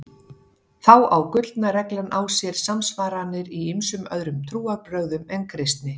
Þá á gullna reglan á sér samsvaranir í ýmsum öðrum trúarbrögðum en kristni.